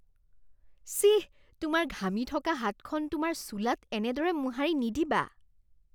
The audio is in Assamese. চিঃ। তোমাৰ ঘামি থকা হাতখন তোমাৰ চোলাত এনেদৰে মোহাৰি নিদিবা।